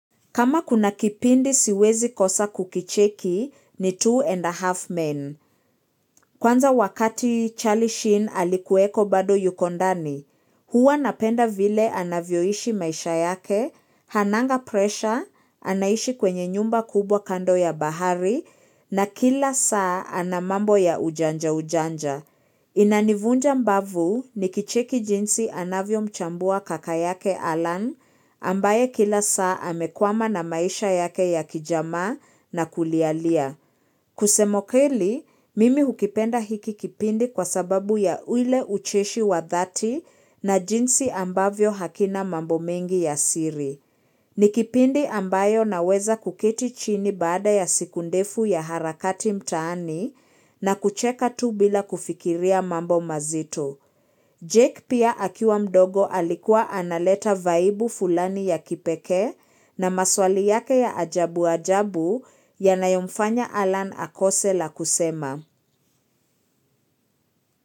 Kama kuna kipindi siwezi kosa kukicheki ni two and a half men. Kwanza wakati Charlie Sheen alikuweko bado yuko ndani. Huwa napenda vile anavyoishi maisha yake, hananga presha, anaishi kwenye nyumba kubwa kando ya bahari, na kila saa ana mambo ya ujanja ujanja. Inanivunja mbavu nikicheki jinsi anavyo mchambua kaka yake Alan ambaye kila saa amekwama na maisha yake ya kijamaa na kulialia. Kusema ukweli, mimi hukipenda hiki kipindi kwa sababu ya uile ucheshi wa dhati na jinsi ambavyo hakina mambo mengi ya siri. Ni kipindi ambayo naweza kuketi chini baada ya siku ndefu ya harakati mtaani na kucheka tu bila kufikiria mambo mazito. Jake pia akiwa mdogo alikuwa analeta vaibu fulani ya kipekee na maswali yake ya ajabu ajabu yanayomfanya Alan Akose la kusema.